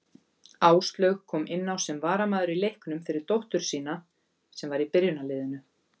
Áslaug kom inná sem varamaður í leiknum fyrir dóttur sína sem var í byrjunarliðinu.